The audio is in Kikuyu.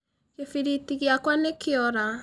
Gĩbiriti giakwa nĩ kĩora.